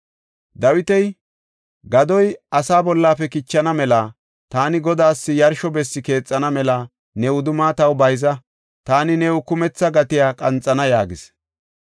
Dawiti, “Gadoy asaa bollafe kichana mela taani Godaas yarsho bessi keexana mela ne wudumma taw bayza. Taani new kumetha gatiya qanxana” yaagis.